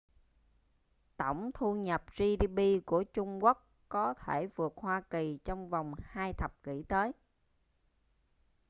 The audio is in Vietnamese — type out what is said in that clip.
tông thu nhập gdp của trung quốc có thể vượt hoa kỳ trong vòng hai thập kỷ tới